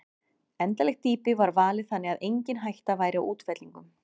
Endanlegt dýpi var valið þannig að engin hætta væri á útfellingum.